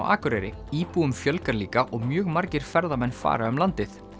Akureyri íbúum fjölgar líka og mjög margir ferðamenn fara um landið